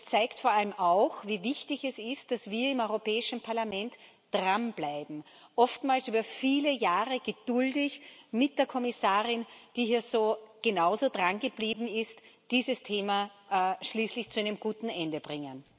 Und es zeigt vor allem auch, wie wichtig es ist, dass wir im Europäischen Parlament dranbleiben oftmals über viele Jahre geduldig mit der Kommissarin, die hier genauso drangeblieben ist und dieses Thema schließlich zu einem guten Ende bringen.